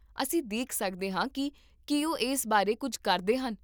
ਅਸੀਂ ਦੇਖ ਸਕਦੇ ਹਾਂ ਕੀ ਕੀ ਉਹ ਇਸ ਬਾਰੇ ਕੁੱਝ ਕਰਦੇ ਹਨ